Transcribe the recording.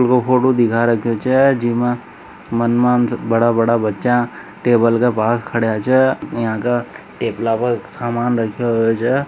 वो फोटो दिखा रखयो छ जिमे मनमा बड़ा बड़ा बच्चा टेबल के पास खड़्या छ यहां के टेबला पर सामान रखयो हुए छ।